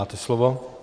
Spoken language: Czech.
Máte slovo.